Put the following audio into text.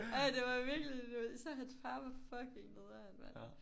Ej det var virkelig især hans far var fucking nederen mand